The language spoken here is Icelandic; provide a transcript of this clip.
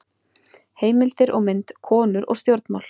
Heimildir og mynd: Konur og stjórnmál.